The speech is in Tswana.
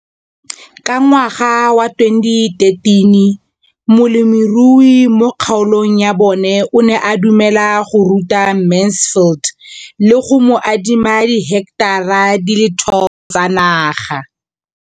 Ka ngwaga wa 2013, molemirui mo kgaolong ya bona o ne a dumela go ruta Mansfield le go mo adima di heketara di le 12 tsa naga.